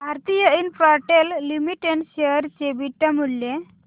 Bharti Infratel limited share चे beta मूल्य